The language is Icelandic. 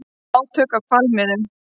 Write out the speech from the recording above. Átök á hvalamiðum